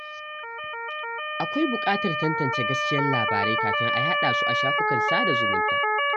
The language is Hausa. Akwai bukatar tantance gaskiyar labarai kafin a yada su a shafukan sada zumunta.